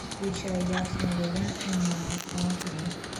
включай я снова я и мама аш ди